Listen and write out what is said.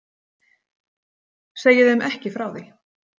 Segi þeim ekki frá því.